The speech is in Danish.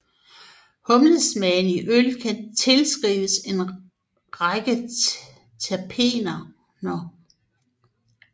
Humlesmagen i øl kan tilskrives en række terpener